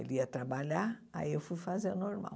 Ele ia trabalhar, aí eu fui fazer o normal.